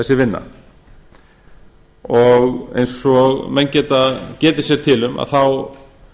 þessi vinna eins og menn geta getið sér til um þá